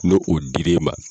N'o dir'e ma.